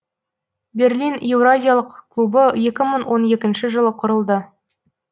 берлин еуразиялық клубы екі мың он екінші жылы құрылды